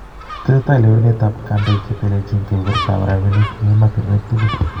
Tesetai lewenet ab kandoik chetelelchini kebebertab rabinik eng' emotunuek tugul